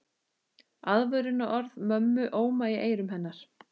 Aðvörunarorð mömmu óma í eyrum hennar.